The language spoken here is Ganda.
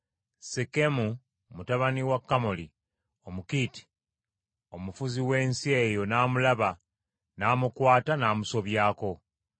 Sekemu mutabani wa Kamoli Omukiiti omufuzi w’ensi eyo n’amulaba n’amukwata n’amusobyako.